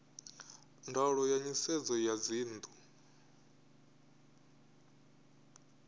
ndaulo ya nisedzo ya dzinnu